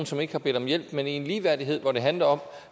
som ikke har bedt om hjælp men i ligeværdighed hvor det handler om